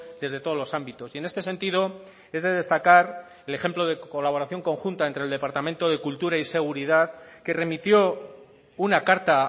desde todos los ámbitos y en este sentido es de destacar el ejemplo de colaboración conjunta entre el departamento de cultura y seguridad que remitió una carta